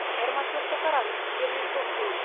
айырмашылықты қараңыз жер мен көктей